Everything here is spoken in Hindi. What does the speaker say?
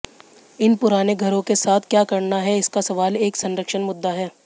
इन पुराने घरों के साथ क्या करना है इसका सवाल एक संरक्षण मुद्दा है